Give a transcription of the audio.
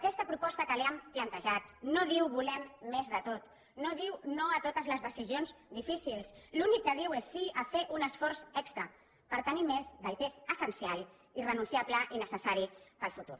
aquesta proposta que li hem plantejat no diu volem més de tot no diu no a totes les decisions difícils l’únic que diu és sí a fer un esforç extra per tenir més del que és essencial i renunciable i necessari per al futur